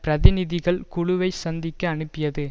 பிரதிநிதிகள் குழுவை சந்திக்க அனுப்பியது